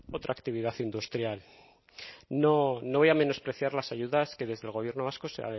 otra actividad industrial no no voy a menospreciar las ayudas que desde el gobierno vasco se